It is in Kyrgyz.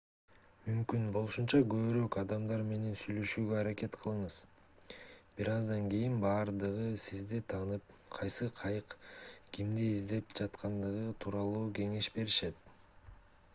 мүмкүн болушунча көбүрөөк адамдар менен сүйлөшүүгө аракет кылыңыз бир аздан кийин баардыгы сизди таанып кайсы кайык кимди издеп жаткандыгы тууралуу кеңеш беришет